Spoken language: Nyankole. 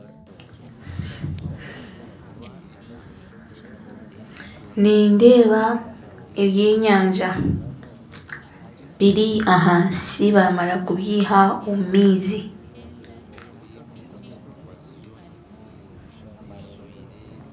Nindeeba eby'enyanja biri ahansi baamara kubiiha omu maizi .